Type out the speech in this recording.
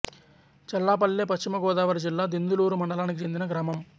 చల్లాపల్లె పశ్చిమ గోదావరి జిల్లా దెందులూరు మండలానికి చెందిన గ్రామం